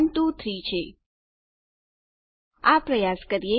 ઠીક છે ચાલો આ પ્રયાસ કરીએ